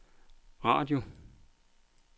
radio